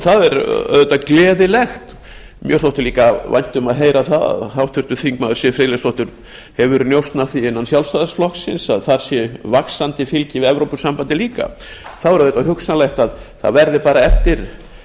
það er auðvitað gleðilegt mér þótti líka vænt um að heyra það að háttvirtur þingmaður siv friðleifsdóttir hefur njósn af því innan sjálfstæðisflokksins að þar sé vaxandi fylgi við evrópusambandið líka þá er auðvitað hugsanlegt að það verði bara eftir